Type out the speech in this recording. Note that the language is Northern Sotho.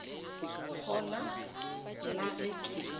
kgona na ge ke le